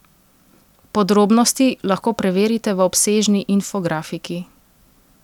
Podrobnosti lahko preverite v obsežni infografiki!